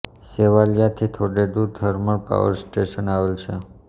સેવાલીયા થી થોઙે દુર થર્મલ પાવર સ્ટેશન આવેલ છે